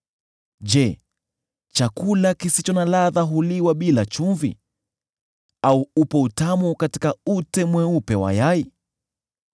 Je, chakula kisicho na ladha huliwa bila chumvi, au upo utamu katika ute mweupe wa yai?